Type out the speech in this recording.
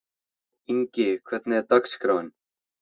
Ingi, hvernig er dagskráin?